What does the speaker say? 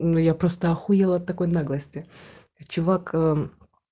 ну я просто ахуела от такой наглости чувак ээ